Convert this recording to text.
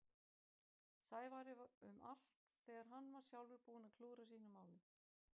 Sævari um allt þegar hann var sjálfur búinn að klúðra sínum málum.